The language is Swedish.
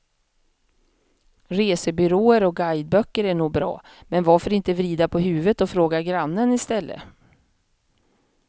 Resebyråer och guideböcker är nog bra, men varför inte vrida på huvudet och fråga grannen i stället.